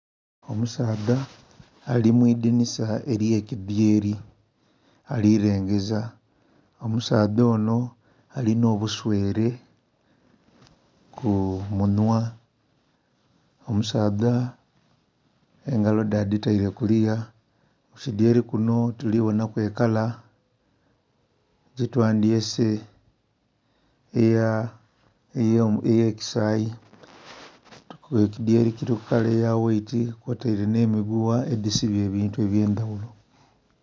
Omusaadha ali mwidhinosa elye kidhyeri ali lengeza, omusaadha onho alinha obuswere ku munhwa. Omusaadha engalo dhe adhitaire ku luya, kukidhyeri kinho tuli bonhaku ekala gye twandhyese eya kasayi nga ekidhyeri kiliku ekala eya waiti kwo taire nhe migugha edhi sibye ebintu ebye ndhaghulo.